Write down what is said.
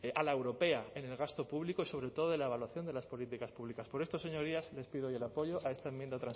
a la europea en el gasto público y sobre todo de la evaluación de las políticas públicas por esto señorías les pido hoy el apoyo a esta